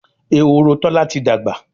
Ehoro Tola tí dagba